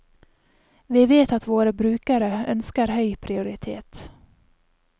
Vi vet at våre brukere ønsker høy prioritet.